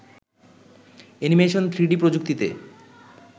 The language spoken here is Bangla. অ্যানিমেশন থ্রিডি প্রযুক্তিতে